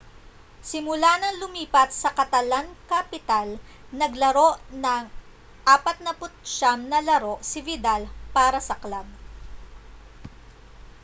simula ng lumipat sa catalan-capital naglaro ng 49 na laro si vidal para sa club